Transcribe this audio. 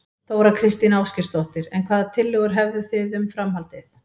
Þóra Kristín Ásgeirsdóttir: En hvaða tillögur hefðu þið um, um framhaldið?